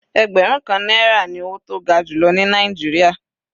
Ẹgbẹrun kan náírà ní owó tó ga jùlọ ní Nàìjíríà.